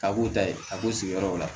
A b'u ta ye a b'u sigiyɔrɔw la